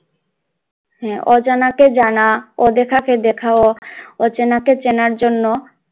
হ্যাঁ অজানাকে জানা অদেখা কে দেখা অচেনাকে চেনার, জন্য